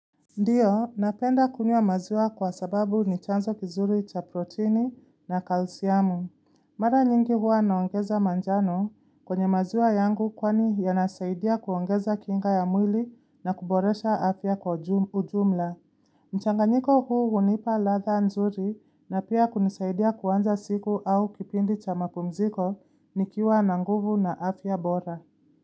Ndiyo, napenda kunywa maziwa kwa sababu ni chanzo kizuri cha proteini na kalsiamu. Mara nyingi huwa naongeza manjano kwenye maziwa yangu kwani yanasaidia kuongeza kinga ya mwili na kuboresha afya kwa ujumla. Mchanganiko huu hunipa radha nzuri na pia kunisaidia kuanza siku au kipindi cha mapumziko nikiwa na nguvu na afya bora.